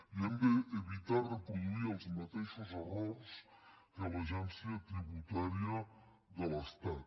i hem d’evitar reproduir els mateixos errors que l’agència tributària de l’estat